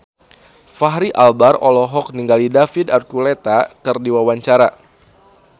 Fachri Albar olohok ningali David Archuletta keur diwawancara